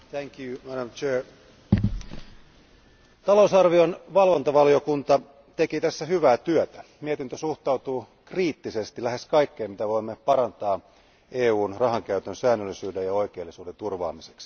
Arvoisa puhemies, talousarvion valvontavaliokunta teki tässä hyvää työtä, mietintö suhtautuu kriittisesti lähes kaikkeen, mitä voimme parantaa EUn rahankäytön säännöllisyyden ja oikeellisuuden turvaamiseksi.